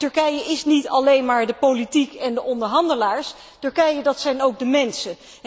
Want Turkije is niet alleen maar de politiek en de onderhandelaars, Turkije dat zijn ook de mensen.